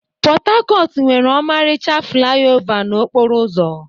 Pot-Tacotu nwere ọmarịcha flaiova n'okporo ụzọ.